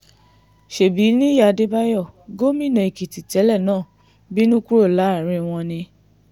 ṣebí nìyí adébáyò gómìnà èkìtì tẹ́lẹ̀ náà bínú kúrò láàrin wọn ni